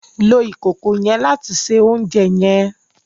Lo ìkòkò yen láti se oúnjẹ yen!